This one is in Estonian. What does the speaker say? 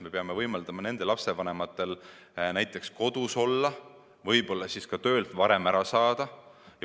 Me peame võimaldama nende vanematel näiteks kodus olla, võib-olla ka töölt varem ära tulla.